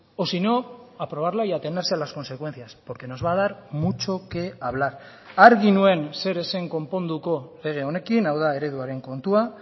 o si no aprobarla y atenerse a las consecuencias porque nos va a dar mucho que hablar argi nuen zer ez zen konponduko lege honekin hau da ereduaren kontua